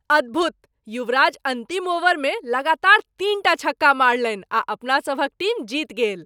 अद्भुत! युवराज अन्तिम ओवरमे लगातार तीनटा छक्का मारलनि आ अपना सभक टीम जीति गेल।